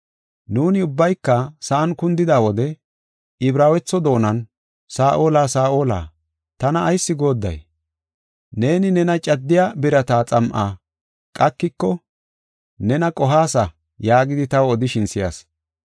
Nuuni ubbayka sa7an kundida wode Ibraawetho doonan, ‘Saa7ola, Saa7ola, tana ayis goodday? Neeni, nena caddiya birata xam7a qakiko nena qohaasa’ yaagidi taw odishin si7as.